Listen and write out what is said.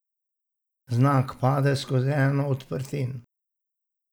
Vznak pade skozi eno od odprtin.